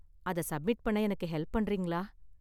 அத சப்மிட் பண்ண எனக்கு ஹெல்ப் பண்றீங்களா?